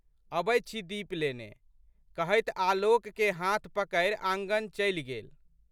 अबैत छी दीप लेने। कहैत आलोकके हाथ पकड़ि आँगन चलि गेल।